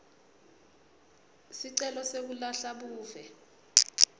sicelo sekulahla buve